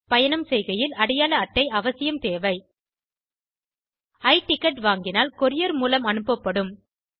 பயணம் செய்கையில் அடையாள அட்டை அவசியம் தேவை i டிக்கெட் வாங்கினால் courierமூலம் அனுப்பப்படும்